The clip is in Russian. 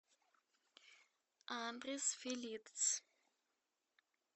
адрес филитцъ